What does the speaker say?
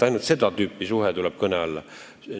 Ainult seda tüüpi suhe tuleb kõne alla.